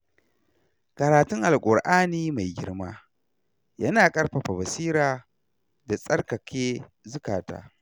Karatun Alkur'ani mai girma yana kaifafa basira da tsarkake zuƙata.